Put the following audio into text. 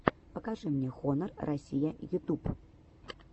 покажи мне хонор россия ютюб